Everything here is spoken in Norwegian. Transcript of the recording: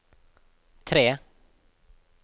tre